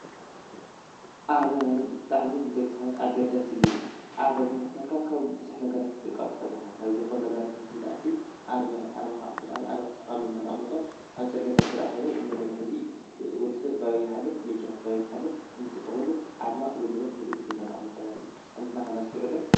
ኣርማ ማለት ብጣዕሚ ንደቂ ሰባት ኣገዳሲ እዩ፡፡ ኣርማ ብምኽታልካ ካብ ብዙሕ ነገራት ክትጥንቐቕ ትኽእል ኢኻ፡፡ ናብ ዘይኮኑ ነገራት ውን ከይትኣቱ ኣርማኻ ብጣዕሚ ጠቓሚ ኢልና ነቐምጦ ኣብ ፅርግያታት ተድኣ ኾይኑ ሕዚ ወዲ ሰብ በበይ ይሓልፍ፣ መኪና በበይ ትሓልፍ ኣርማ ወይ ድማ ምልክት ኢልና ነቐምጦ ማለት እዩ፡፡ ንሕና ኸ ነስተውዕል ዶ?